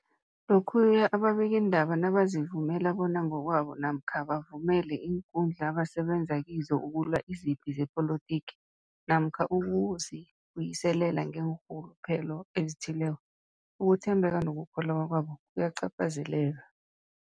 Lokhuya ababikiindaba nabazivumela bona ngokwabo namkha bavumele iinkundla abasebenza kizo ukulwa izipi zepolitiki namkha ukuzi buyiselela ngeenrhuluphelo ezithileko, ukuthembeka nokukholweka kwabo kuyacaphazeleka.